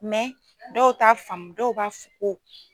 Mɛ dɔw ta faamu dɔw ka